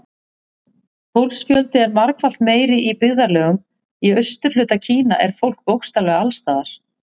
Fólksfjöldi er margfalt meiri Í byggðarlögum í austurhluta Kína er fólk bókstaflega alls staðar.